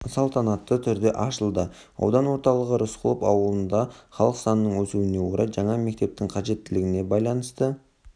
салтанатты түрде ашылды аудан орталығы рысқұлов ауылында халық санының өсуіне орай жаңа мектептің қажеттігіне байланысты